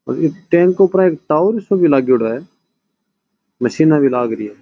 और ई टैंक ऊपर एक टावर सो भी लागेडो है मशीन भी लागरी है।